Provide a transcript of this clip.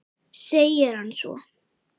segir hann svo.